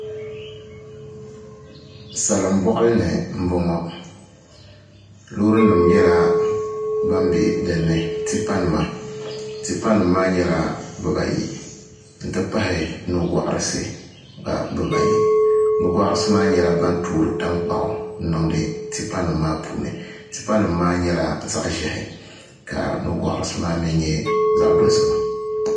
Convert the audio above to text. Salin boɣali ni n boŋo loori nim nyɛla bin bɛ dinni tipa nima tipa nim maa nyɛla bibayi n ti pahi nugoɣarisi gba bibayi nugoɣarisi maa nyɛla ban toori tankpaɣu n niŋdi tipa nim maa puuni tipa nim maa nyɛla zaɣ ʒiɛhi ka nugoɣarisi maa mii nyɛ zaɣ dozima